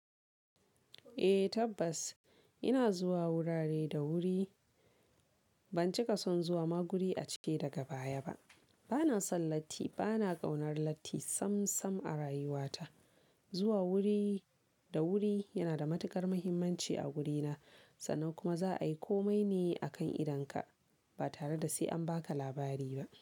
Eh tabbas ina zuwa wurare da wuri. Ban cika son zuwa maguri a cike daga baya ba. Bana son latti, bana ƙaunar latti sam sam a rayuwata. Zuwa wuri da wuri yana da matuƙar muhimmanci a wurina. Sannan kuma za a yi komai ne a kan idonka ba tare da sai an baka labari ba.